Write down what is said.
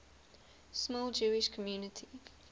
small jewish community